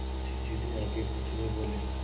मुंशी जी भी आगे कुछ नहीं बोले